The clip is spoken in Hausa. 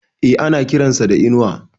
E, ana kiran sa da Inuwa.